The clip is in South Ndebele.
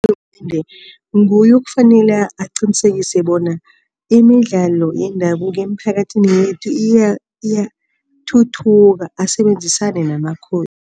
Urhulumende nguye okufanele aqinisekise bona imidlalo yendabuko emiphakathini yethu iyathuthuka, asebenzisane namaKhosi.